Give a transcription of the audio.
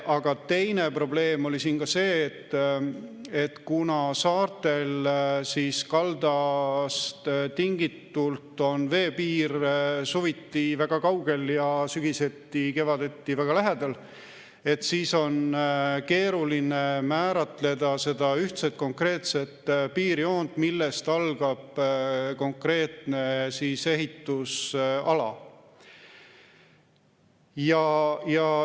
Aga teine probleem oli see, et kuna saartel on kaldast tingitult veepiir suviti väga kaugel ja sügiseti-kevadeti väga lähedal, siis on keeruline määratleda seda ühtset konkreetset piirjoont, millest algab konkreetne ehitusala.